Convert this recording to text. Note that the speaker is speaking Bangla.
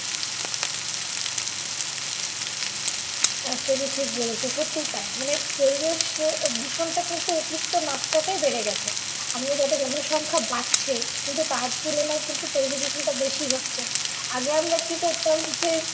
একদমই ঠিক বলেছো সত্যিই তাই মানে পরিবেশ দূষণটা কিন্তু অতিরিক্ত মাত্রায় বেড়ে গেছে আমাদের যত জনসংখ্যা বাড়ছে কিন্তু তার তুলনায় কিন্তু পরিবেশ দূষণটা কিন্তু বেশি হচ্ছে আগে আমরা কি করতাম যে